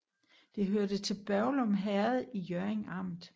Det hørte til Børglum Herred i Hjørring Amt